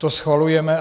To schvalujeme.